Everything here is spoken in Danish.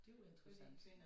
Det jo interessant